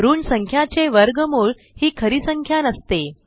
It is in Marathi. ऋण संख्याचे वर्गमूळ ही खरी संख्या नसते